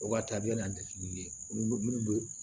O ka taabiya n'a tɛge minnu